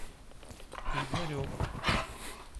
игорек